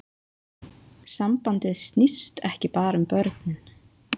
Sambandið snýst ekki bara um börnin